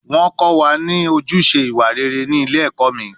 Wọ́n kọ́ wa ní ojúṣe ìwà rere ní ilé ẹ̀kọ́ mi